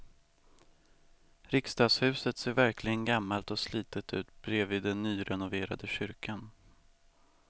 Riksdagshuset ser verkligen gammalt och slitet ut bredvid den nyrenoverade kyrkan.